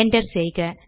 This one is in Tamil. என்டர் செய்க